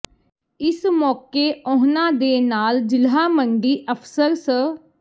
ਇਸ ਮੌਕੇ ਉਨ੍ਹਾਂ ਦੇ ਨਾਲ ਜ਼ਿਲ੍ਹਾ ਮੰਡੀ ਅਫ਼ਸਰ ਸ